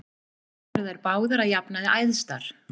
Þar eru þær báðar að jafnaði æðstar.